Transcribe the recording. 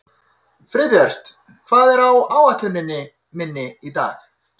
Friðbjört, hvað er á áætluninni minni í dag?